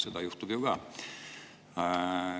" Seda juhtub ju ka.